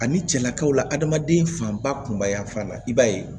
Ani cɛlakaw la adamaden fanba kunba fan na i b'a ye